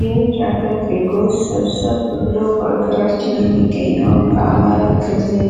የውጭ አገር ዜጐች ሰብሰብ ብለው በሀገራችን የሚገኘውን በአማራ ክልል